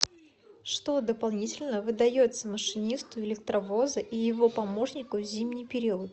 что дополнительно выдается машинисту электровоза и его помощнику в зимний период